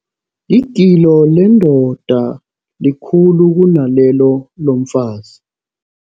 Igilo lendoda likhulu kunalelo lomfazi.